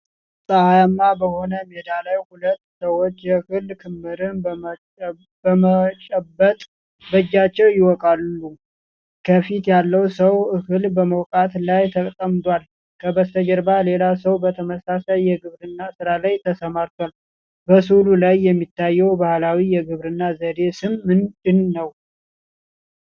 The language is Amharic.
ፀሐያማ በሆነ ሜዳ ላይ ሁለት ሰዎች የእህል ክምርን በመጨበጥ በእጃቸው ይወቃሉ። ከፊቱ ያለው ሰው እህል በመውቃት ላይ ተጠምዷል፤ ከበስተጀርባም ሌላ ሰው በተመሳሳይ የግብርና ሥራ ተሰማርቷል። በሥዕሉ ላይ የሚታየው ባህላዊ የግብርና ዘዴ ስም ምንድነው?